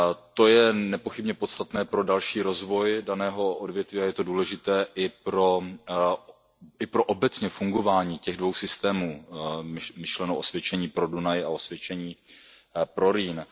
To je nepochybně podstatné pro další rozvoj daného odvětví a je to důležité i pro obecně fungování těch dvou systémů, myšleno osvědčení pro Dunaj a osvědčení pro Rýn.